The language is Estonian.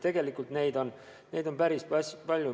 Tegelikult on neid näiteid päris palju.